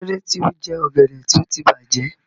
Kí ló dé tí o jẹ ọ̀gẹ̀dẹ̀ tí ó ti bàjẹ́?